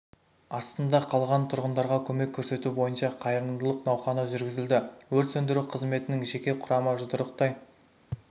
астында қалған тұрғындарға көмек көрсету бойынша қайырылымдық науқаны жүргізілді өрт сөндіру қызметінің жеке құрамы жұдырықтай